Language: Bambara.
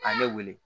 A ye ne wele